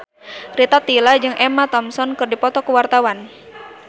Rita Tila jeung Emma Thompson keur dipoto ku wartawan